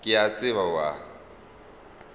ke a tseba o a